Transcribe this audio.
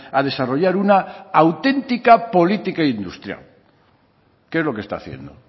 a desarrollar una auténtica política industrial qué es lo que está haciendo